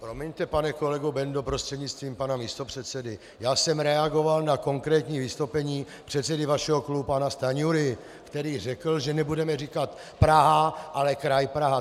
Promiňte, pane kolego Bendo prostřednictvím pana místopředsedy, já jsem reagoval na konkrétní vystoupení předsedy vašeho klubu pana Stanjury, který řekl, že nebudeme říkat Praha, ale kraj Praha.